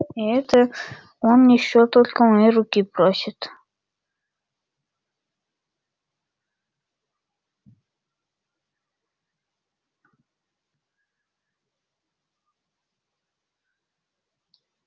и это он ещё только моей руки просит